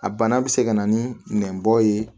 A bana bɛ se ka na ni nɛnbɔ ye